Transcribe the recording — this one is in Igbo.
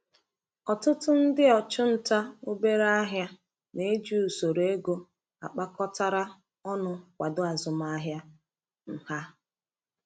Ọtụtụ ndị ọchụnta obere ahịa na-eji usoro ego akpakọtara ọnụ kwado azụmahịa um ha.